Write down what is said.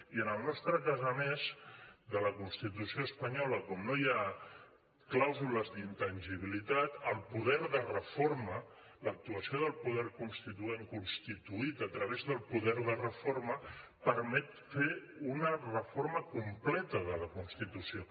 i en el nostre cas a més de la constitució espanyola com no hi ha clàusules d’intangibilitat el poder de reforma l’actuació del poder constituent constituït a través del poder de reforma permet fer una reforma completa de la constitució